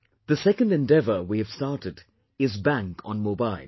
The second endeavour we have started is Bank on Mobile